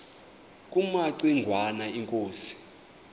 kumaci ngwana inkosi